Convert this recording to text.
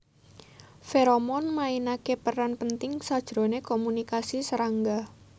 Feromon mainake peran penting sajrone komunikasi serangga